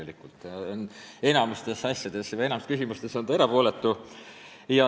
Ta on enamikus küsimustes erapooletu.